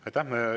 Aitäh!